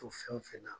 To fɛn o fɛn na